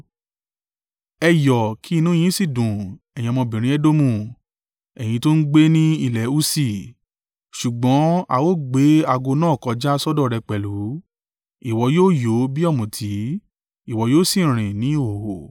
Ẹ yọ̀ kí inú yín sì dùn, ẹ̀yin ọmọbìnrin Edomu, ẹ̀yin tó ń gbé ní ilẹ̀ Usi. Ṣùgbọ́n, a ó gbé ago náà kọjá sọ́dọ̀ rẹ pẹ̀lú; ìwọ yóò yó bí ọ̀mùtí, ìwọ yóò sì rìn ní ìhòhò.